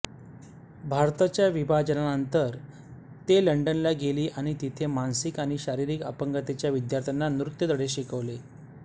भारताच्या विभाजनानंतर ते लंडनला गेली आणि तिथे मानसिक आणि शारीरिक अपंगतेच्या विद्यार्थ्यांना नृत्य धडे शिकवले